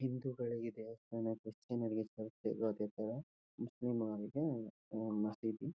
ಹಿಂದೂಗಳಿಗೆ ದೇವಸ್ತಾನಕ್ರಿಶ್ಚಿಯನ ರಿಗೆ ಚರ್ಚ್ ಹೇಗೋ ಅದೇ ತರ ಮುಸ್ಲಿಮರಿಗೆ ಆಹ್ಹ್ ಆಹ್ಹ್ ಮಸಿದಿ.